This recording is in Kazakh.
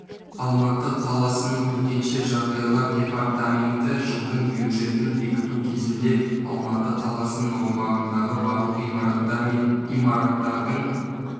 алматы қаласының төтенше жағдайлар департаменті жылдың бюджетін бекіту кезінде алматы қаласының аумағындағы барлық ғимараттар мен имараттардың